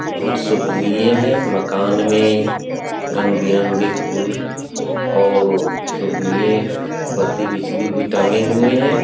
बहुत शोभनीय है मकान में रंग-बिरंगे फुल और शोभनीय बत्ती बिजली भी टंगे हुए हैं।